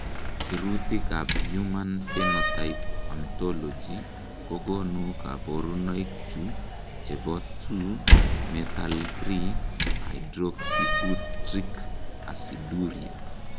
Sirutikab Human Phenotype Ontology kokonu koborunoikchu chebo 2 methyl 3 hydroxybutyric aciduria.